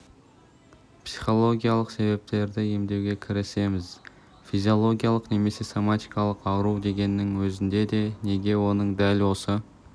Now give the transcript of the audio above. психологиялық себептерді емдеуге кірісеміз физиологиялық немесе соматикалық ауру дегеннің өзінде де неге оның дәл осы